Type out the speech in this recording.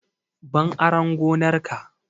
Ban aran gonar ka!